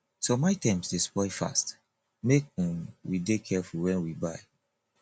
some items dey spoil fast make um we dey careful wen we buy